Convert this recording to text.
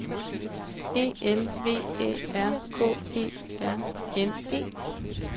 E L V Æ R K E R N E